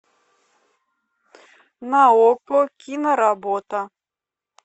на окко киноработа